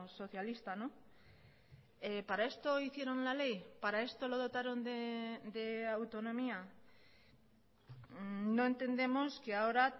socialista para esto hicieron la ley para esto lo dotaron de autonomía no entendemos que ahora